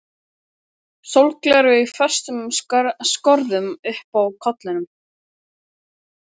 Sólgleraugu í föstum skorðum uppi á kollinum.